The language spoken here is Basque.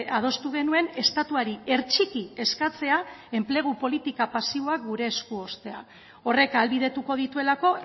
adostu genuen estatuari hertsiki eskatzea enplegu politika pasiboak gure esku uztea horrek ahalbidetuko dituelako